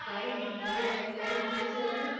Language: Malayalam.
സർക്കാരും നമ്മളും എല്ലാരുമൊത്ത് ചേർന്ന്